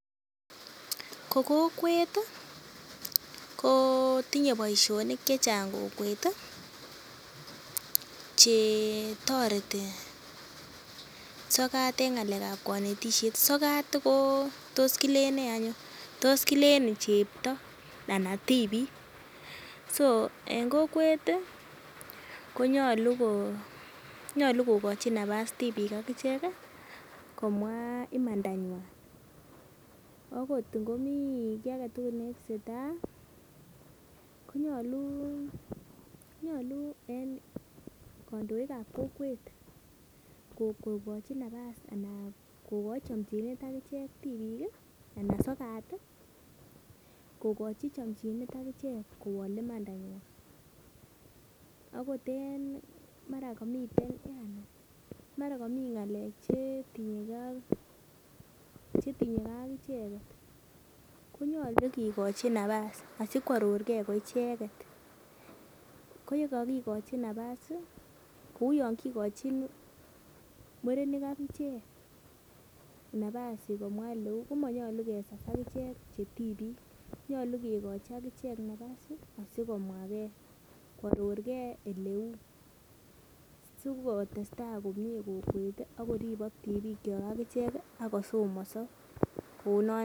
ko kokwet kotinye boisionik chechang kokwet chetoreti sokat en ng'alekab konetisiet, sokat kotos kilen ne eny oh tos kilen chebto anan tibik.en kokwet konyolu kokochi nafas tibik akichek komwa imanda nywan. akot ingo mi ki agetugul netesetai ih konyolu en kandoikab kokwet kokoi nafas anan kokoi chamchinet tibik anan sokat ih kokochi chamchinet kowolu imanda nywan akot en mara komiten chetinye kee ak icheket konyolu kokochi nafas asi koaror ke koicheket ko yakakikochi nafas kouu Yoon kikochin murenik akichek nafas komwa ko uu ole uu komonyulu kesas akichek che tibik nyolu kekochi akichek nyolu kekochi akichek nafas asikomwage koaror ke eleuu silotestai agichek akoribok tibik chok agichek akosomoso.